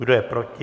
Kdo je proti?